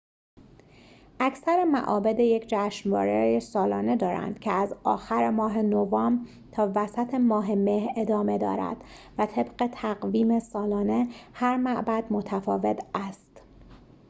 اکثر معابد یک جشنواره سالانه دارند که از آخر ماه نوامبر تا وسط ماه مه ادامه دارد و طبق تقویم سالانه هر معبد متفاوت است